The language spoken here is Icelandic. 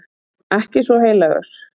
Ekki svo heilagur.